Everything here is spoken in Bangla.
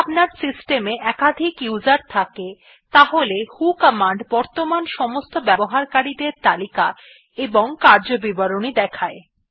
যদি আপনার সিস্টম এ একাধিক উসের থাকে তাহলে ভো কমান্ড বর্তমান সমস্ত ব্যবহারকারী দের তালিকা এবং কার্যবিবরণী দেখায়